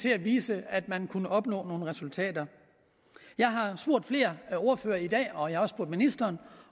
at vise at man kunne opnå nogle resultater jeg har spurgt flere ordførere i dag og jeg har også spurgt ministeren